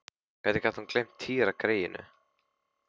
Hvernig gat hún gleymt Týra greyinu?